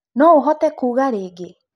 No ũhote kũga rĩĩngĩ.